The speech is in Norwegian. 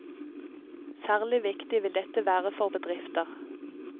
Særlig viktig vil dette være for bedrifter.